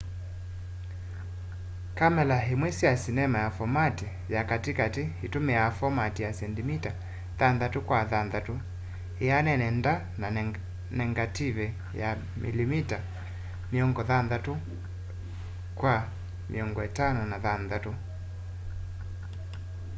kamela imwe sya sinema ya fomati ya kati kati itumiaa fomati ya sendimita 6 kwa 6 ianene nda na negative ya milimita 56 kwa 56